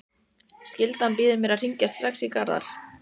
Einn skotinn í Ólafsvík er hátt með olnbogana Besti íþróttafréttamaðurinn?